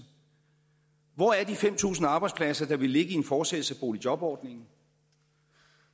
hvor er de fem tusind arbejdspladser der ville ligge i en fortsættelse af boligjobordningen